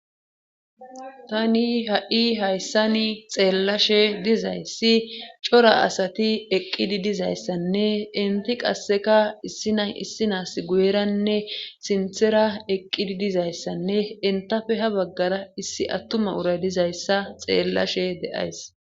Tani ha'i hayssani xeellashe dizayssi cora asati eqqidi dizayssanne inti qasseka issina issinaas guyeranne sinthera eqqidi dizayssanne intafe ha baggara issi attuma uray dizayssa xeellashe deays.